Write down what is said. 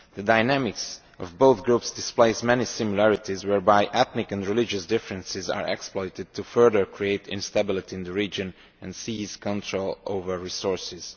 The dynamics of both groups display many similarities, whereby ethnic and religious differences are exploited to further create instability in the region and seize control over resources.